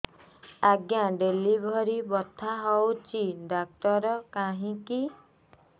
ଆଜ୍ଞା ଡେଲିଭରି ବଥା ହଉଚି ଡାକ୍ତର କାହିଁ କି